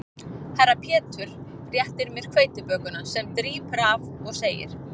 Herra Pétur réttir mér hveitibökuna sem drýpur af og segir